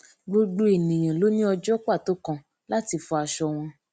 gbogbo ènìyàn ló ní ọjó pàtó kan láti fọ aṣọ wọn